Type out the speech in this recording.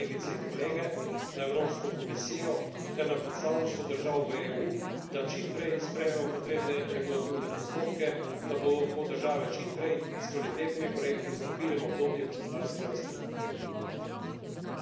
Zato apeliram na vas, kolegice in kolege, na Evropsko komisijo ter na predstavništvo držav v EU, da čim prej sprejmemo potrebne regulativne postopke, da bodo lahko države čim prej s kvalitetnimi projekti stopile v obdobje gospodarske rasti.